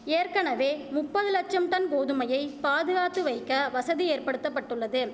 ஏற்கனவே முப்பது லட்சம் டன் கோதுமையை பாதுகாத்து வைக்க வசதி ஏற்படுத்த பட்டுள்ளது